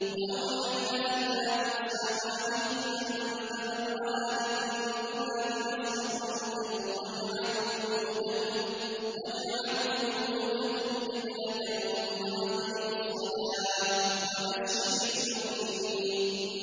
وَأَوْحَيْنَا إِلَىٰ مُوسَىٰ وَأَخِيهِ أَن تَبَوَّآ لِقَوْمِكُمَا بِمِصْرَ بُيُوتًا وَاجْعَلُوا بُيُوتَكُمْ قِبْلَةً وَأَقِيمُوا الصَّلَاةَ ۗ وَبَشِّرِ الْمُؤْمِنِينَ